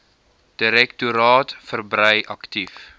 direktoraat verbrei aktief